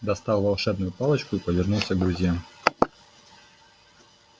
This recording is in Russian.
достал волшебную палочку и повернулся к друзьям